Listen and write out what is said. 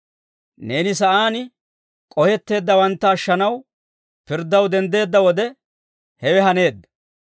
Neeni sa'aan k'ohetteeddawantta ashshanaw, pirddaw denddeedda wode, hewe haneedda.